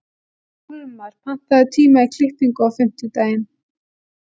Hólmar, pantaðu tíma í klippingu á fimmtudaginn.